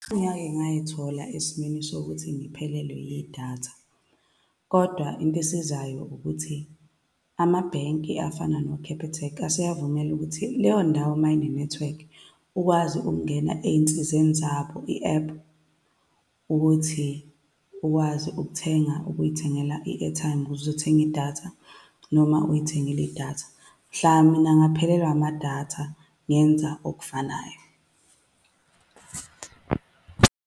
Sengake ngay'thola esimeni sokuthi ngiphelelwa yidatha, kodwa into esizayo ukuthi amabhenki afana no-Capitec aseyakuvumela ukuthi leyo ndawo mayine-network, ukwazi ukungena ey'nsizeni zabo, i-app, ukuthi ukwazi ukuthenga, ukuy'thengela i-airtime ukuze uzothenge i-data, noma uy'thengile i-data. Mhla mina ngaphelelwa amadatha, ngenza okufanayo .